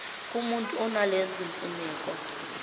kumutu onalezo zimfuneko